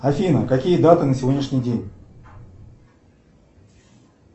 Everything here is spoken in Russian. афина какие даты на сегодняшний день